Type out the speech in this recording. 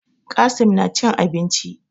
Qassim na cin abinci